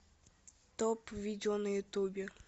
топ видео на ютубе